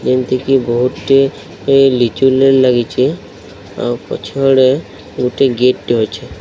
ଏମିତିକି ବହୁତ ଗୁଡିଏ ଲିଚୁ ଲାଇଟ ଲାଗିଚି ଆଉ ପଛଆଡେ ଗୁଟେ ଗିପ୍ଟ ଅଛି।